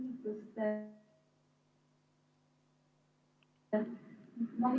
Suur tänu!